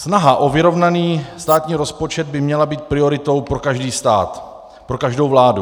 Snaha o vyrovnaný státní rozpočet by měla být prioritou pro každý stát, pro každou vládu.